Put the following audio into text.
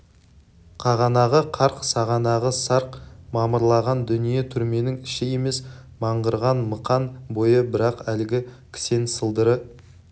қағанағы қарқ сағанағы сарқ мамырлаған дүние түрменің іші емес мыңғырған мықан бойы бірақ әлгі кісен сылдыры